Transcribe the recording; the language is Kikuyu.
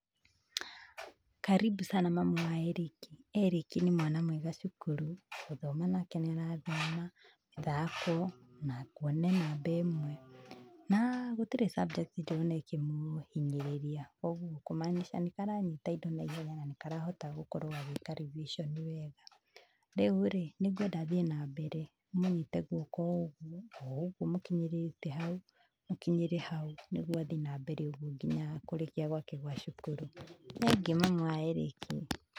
Karibu sana mamu wa Erick. Erick nĩ mwana mwega cukuru, gũthoma nake nĩ arathoma, ithako na kuona e namba ĩmwe, na gũtirĩ subject ndĩrona ĩkĩ mũhinyĩrĩria koguo kũmaanisha nĩ karanyita indo naihenya na nĩ karahota gũkorwo gagĩka revision wega. Rĩu rĩ, nĩ ngwenda athiĩ na mbere, ũmũnyite gwoko ũũguo, ũũguo mũkinyĩrĩtĩ hau, mũkinyĩrĩ hau nĩguo athiĩ na mbere uguo nginya kurĩkia gwake gwa cukuru. Nĩ thengiũ mamu wa Erick.